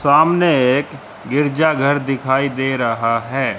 सामने एक गिरजाघर दिखाई दे रहा हैं।